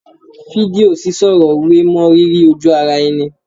Fídíò sísọ̀rọ̀ wé mọ́ rírí ojú ara ẹni